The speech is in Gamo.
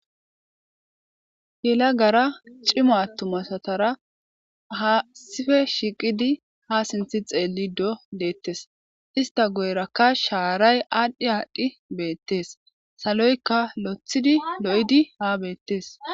Hayssa misileza bolla taasi beetizay aaze gizayssa giddiko woykko xeelishin dizayssi yelagara cima attuma asara dumma dumma lo'iza miishata gidoyssi qoncce gididi dizayssa besees.